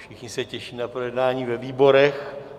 Všichni se těší na projednání ve výborech.